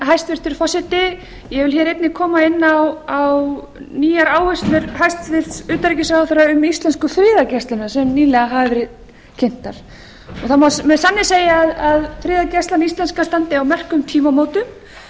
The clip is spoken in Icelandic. hæstvirtur forseti ég vil hér einnig koma inn á nýjar áherslur hæstvirts utanríkisráðherra um íslensku friðargæsluna sem nýlega hafa verið kynntar það má með sanni segja að friðargæslan íslenska standi á merkum tímamótum